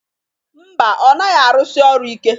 Ḿbà, ọ naghị arụsị ọru ike.